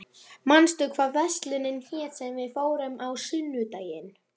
Októvía, manstu hvað verslunin hét sem við fórum í á sunnudaginn?